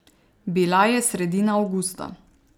Bila je sredina avgusta.